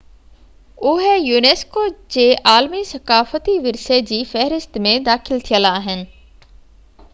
اهي unesco جي عالمي ثقافتي ورثي جي فهرست ۾ داخل ٿيل آهن